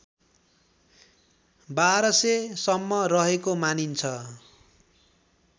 १२००सम्म रहेको मानिन्छ